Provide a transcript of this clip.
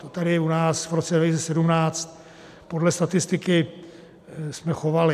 To tady u nás v roce 2017 podle statistiky jsme chovali.